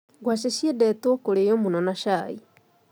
Ngwacĩ ciendetwo kurĩo mũno na cai.